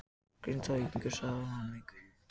Grindvíkingurinn svaraði honum engu.